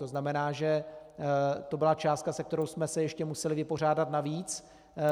To znamená, že to byla částka, se kterou jsme se ještě museli vypořádat navíc.